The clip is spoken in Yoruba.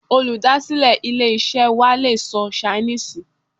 Olùdásílè ilé-isẹ́ wa le sọ Ṣainíìsì